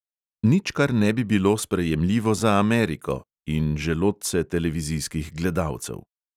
Nič, kar ne bi bilo sprejemljivo za ameriko – in želodce televizijskih gledalcev.